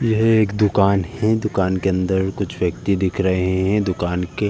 यह एक दुकान है दुकान के अंदर कुछ व्यक्ति दिख रहे हैं दुकान के --